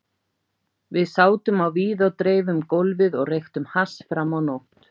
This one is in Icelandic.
Við sátum á víð og dreif um gólfið og reyktum hass fram á nótt.